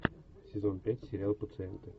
сезон пять сериал пациенты